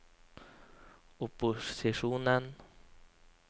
opposisjonen